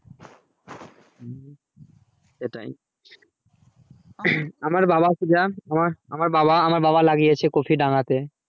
সেটাই আমার বাবা সুধা আমার বাবা আমার বাবা লাগিয়েছে কফি কফি দাঙ্গাতে